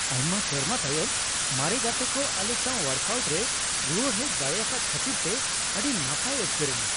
ᱟᱭᱢᱟ ᱥᱮᱨᱢᱟ ᱛᱟᱭᱚᱢ ᱢᱟᱨᱮ ᱜᱟᱛᱮ ᱠᱚ ᱟᱞᱮ ᱥᱟᱶ ᱳᱣᱟᱨᱠ ᱟᱹᱣᱩᱴ ᱨᱮ ᱨᱩᱣᱟᱹᱲ ᱦᱮᱡ ᱫᱟᱲᱮᱭᱟᱠᱟᱫ ᱠᱷᱟᱹᱛᱤᱨᱛᱮ ᱟᱹᱰᱤ ᱱᱟᱯᱟᱭ ᱟᱴᱠᱟᱨ ᱮᱱᱟ ᱾